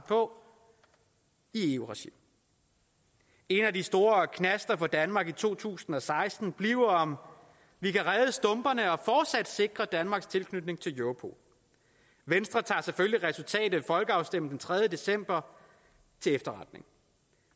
for i eu regi en af de store knaster for danmark i to tusind og seksten bliver om vi kan redde stumperne og fortsat sikre danmarks tilknytning til europol venstre tager selvfølgelig resultatet af folkeafstemningen den tredje december til efterretning